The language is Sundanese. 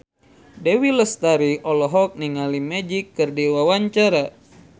Dewi Lestari olohok ningali Magic keur diwawancara